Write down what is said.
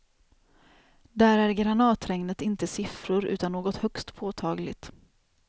Där är granatregnet inte siffror utan något högst påtagligt.